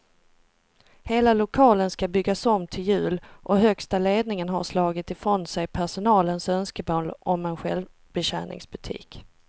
Hela lokalen ska byggas om till jul och högsta ledningen har slagit ifrån sig personalens önskemål om en självbetjäningsbutik.